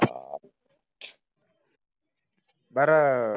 बारा